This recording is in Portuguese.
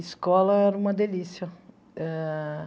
Escola era uma delícia ah